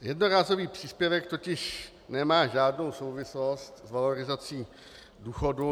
Jednorázový příspěvek totiž nemá žádnou souvislost s valorizací důchodu.